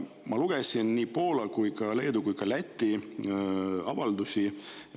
Ma lugesin nii Poola kui ka Leedu kui ka Läti avaldust.